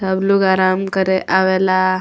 सब लोग आराम करे आवेला।